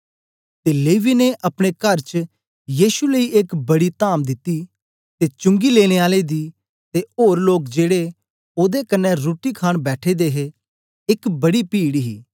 ते लेवी ने अपने कर च यीशु लेई एक बड़ी त्ताम दिती ते चुंगी लेने आले दी ते ओर लोक जेड़े ओदे कन्ने रुट्टी खाण बैठे दे हे एक बड़ी पीड ही